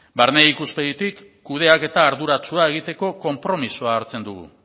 barne ikuspegitik kudeaketa arduratsua egiteko konpromisoa hartzen dugu